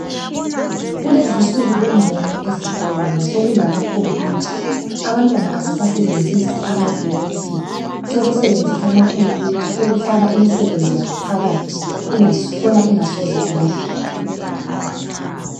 Kulezinsuku kungcono ezikolo ngoba sokulama khompuyutha, abantwana abasasebenzisi ama bhuku kuphela sebenzisa ama khompuyutha ukufaka imisebenzi yabo phakathi khona ingasoze ilahleke.